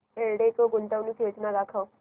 एल्डेको गुंतवणूक योजना दाखव